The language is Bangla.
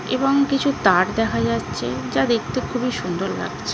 এবং কিছু তার দেখা যাচ্ছে। যা দেখতে খুবই সুন্দর লাগছ--